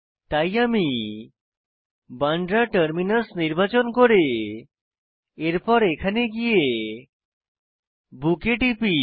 তাই আমি বান্দ্রা টারমিনাস নির্বাচন নির্বাচন করে এরপর এখানে গিয়ে বুক এ টিপি